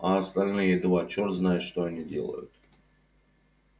а остальные два чёрт знает что они делают